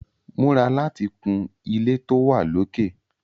Múra láti kun ilé tó wà lókè!